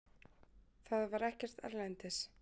Það var ekkert erlendis.